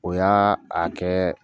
O y'a a kɛ